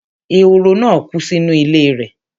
ehoro náà kú sínú ilé rẹ̀